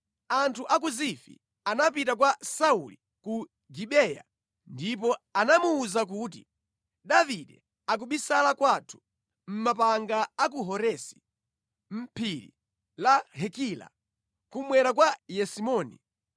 Anthu a ku Zifi anapita kwa Sauli ku Gibeya ndipo anamuwuza kuti, “Davide akubisala kwathu, mʼmapanga a ku Horesi, mʼphiri la Hakila, kummwera kwa Yesimoni.